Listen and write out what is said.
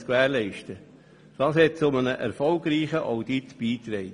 Das trug auch zu einem erfolgreichen Audit bei.